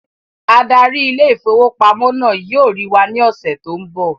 Adarí ile-ìfowópamó náà yóò rí wà ní ọsẹ tó n bọ